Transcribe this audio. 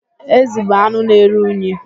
Ezi bụ anụ na-eru unyi.